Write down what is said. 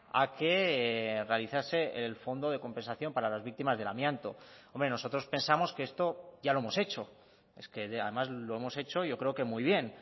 a que realizase el fondo de compensación para las víctimas del amianto nosotros pensamos que esto ya lo hemos hecho es que además lo hemos hecho yo creo que muy bien